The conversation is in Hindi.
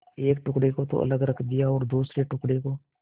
एक टुकड़े को तो अलग रख दिया और दूसरे टुकड़े को